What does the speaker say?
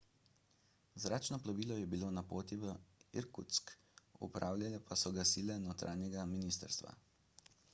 zračno plovilo je bilo na poti v irkutsk upravljale pa so ga sile notranjega ministrstva